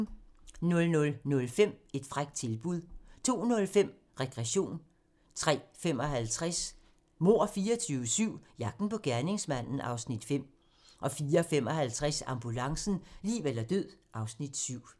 00:05: Et frækt tilbud 02:05: Regression 03:55: Mord 24/7 - jagten på gerningsmanden (Afs. 5) 04:55: Ambulancen - liv eller død (Afs. 7)